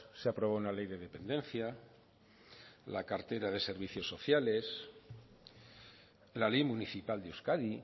se aprobó una ley de dependencia la cartera de servicios sociales la ley municipal de euskadi